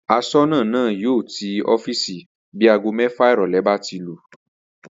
As̩ó̩nà náà yóò tí ó̩fíìsì bí aago mé̩fà ìrò̩lé̩ bá ti lù